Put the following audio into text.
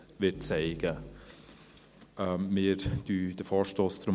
Wir lehnen deshalb den Vorstoss ab.